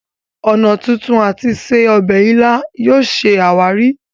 ọnà tuntun àti se obè ila yóò ṣe àwáàrí.